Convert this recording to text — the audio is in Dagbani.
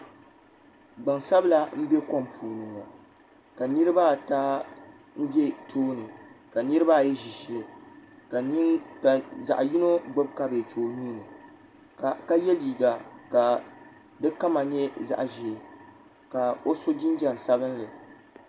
Gbansabila m-be kom puuni ni ŋɔ ka niriba ata be tooni ka niriba ayi ʒi ʒili ka zaɣ'yino gbubi kabeeji o nuu ni ka ye liiga ka di kama nyɛ zaɣ'ʒee ka o so jinjam sabinli.